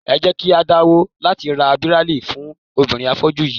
Ẹ jẹ́ kí á dáwọ́ láti ra Bíráílì fún obìnrin afọ́jú yí í.